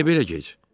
Niyə belə gec?